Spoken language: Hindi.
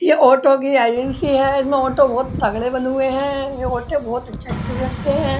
ये ऑटो कि एजेंसी है। इसमे ऑटो बोहोत तगड़े बने हुए हैं। ये ऑटो बोहोत अच्छे-अच्छे बनते हैं।